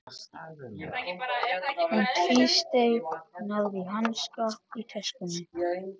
Hún tvísteig, náði í hanska í töskunni.